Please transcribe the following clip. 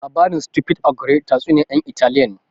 Labarin Stupid ogre tatsuniyar yan Italiya ne